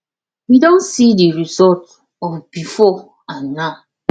we don see the result of before and now